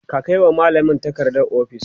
ka Kai wa mallamin takarda ofis?